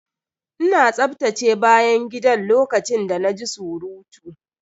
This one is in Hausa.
Ina tsaftace bayan gidan lokacin da na ji surutu.